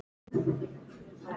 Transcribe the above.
Það er þá Agnes!